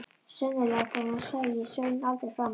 Sennilegast var að hún sæi Svein aldrei framar.